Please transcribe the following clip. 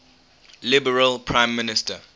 liberal prime minister